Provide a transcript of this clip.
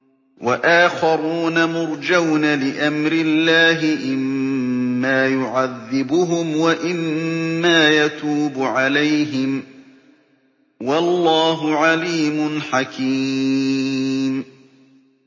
وَآخَرُونَ مُرْجَوْنَ لِأَمْرِ اللَّهِ إِمَّا يُعَذِّبُهُمْ وَإِمَّا يَتُوبُ عَلَيْهِمْ ۗ وَاللَّهُ عَلِيمٌ حَكِيمٌ